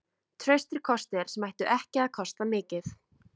Traustir kostir sem ættu ekki að kosta mikið.